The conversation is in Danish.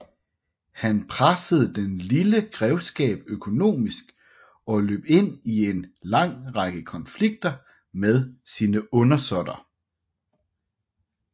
Han pressede den lille grevskab økonomisk og løb ind i en lang række konflikter med sine undersåtter